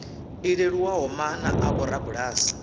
i leluwaho maana a vhorabulasi